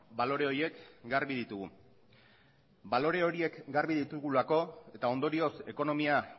balore horiek garbi ditugu balore horiek garbi ditugulako eta ondorioz ekonomia